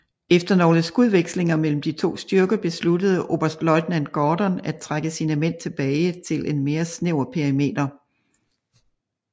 Efter nogle skudvekslinger mellem de to styrker besluttede oberstløjtnant Gordon at trække sine mænd tilbage til en mere snæver perimeter